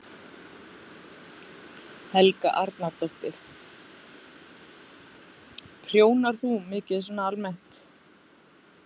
Helga Arnardóttir: Prjónar þú mikið svona almennt?